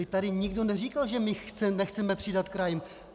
Vždyť tady nikdo neříkal, že my nechceme přidat krajům.